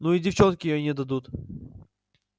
ну и девчонки ей не дадут